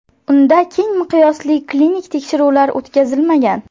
Unda keng miqyosli klinik tekshiruvlar o‘tkazilmagan.